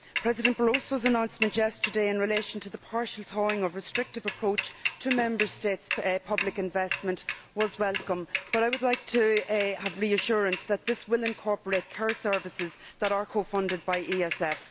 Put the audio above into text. President Barroso's announcement yesterday in relation to the partial thawing of a restrictive approach to Member States' public investment was welcome, but I would like to have reassurance that this will incorporate care services that are co funded by the ESF.